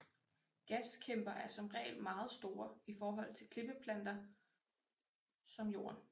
Gaskæmper er som regel meget store i forhold til klippeplaneter som Jorden